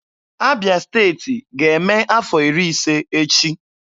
Abịa Steeti ga-eme afọ iri ise echi.